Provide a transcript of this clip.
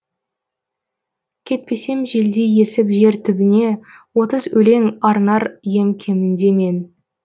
кетпесем желдей есіп жер түбіне отыз өлең арнар ем кемінде мен